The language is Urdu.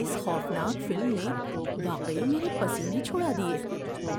اس خوفناک فلم نے واقعی میرے پسینے چھڑا دیے